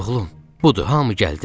Oğlum, budur hamı gəldi.